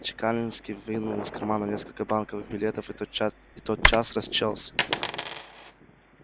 чекалинский вынул из кармана несколько банковых билетов и тотчас тотчас расчёлся